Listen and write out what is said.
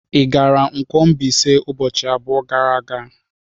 Ị gara Nkwo-Mbaise ụbọchị abụọ gara aga?